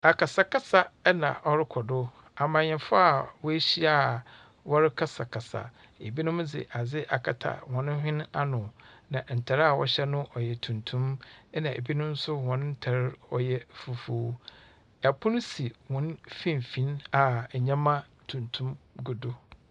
Akasakasa na ɔrokɔ do. Amannyɛfoɔ a woehyia a wɔrekasakasa. Ebinom dze adze akata hɔn hwene ano, na ntar a wɔhyɛ no ɔyɛ tuntum, ɛnna ebinom nso hɔn ntar ɔyɛ fufuw. Pono si hɔn mfimfin a nyama tuntum gu do.